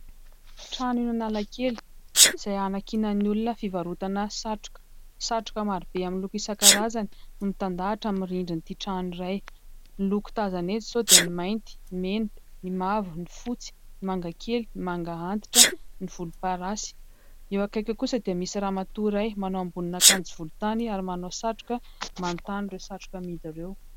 Trano eo Analakely izay hanankinan'ny olona fivarotana satroka, satroka marobe amin'ny loko isankarazany no mitandahatra amin'ny rindrin'ity trano iray, ny loko tazana eto izao dia ny mainty, ny mena, ny mavo, ny fotsy, ny mangakely, ny manga antitra, ny volomparasy. Eo akaiky eo kosa dia misy ramatoa iray manao ambonin'akanjo volotany ary manao satroka manontany ireo satroka amidy ireo.